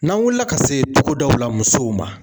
N'an wulila ka se togodaw la musow ma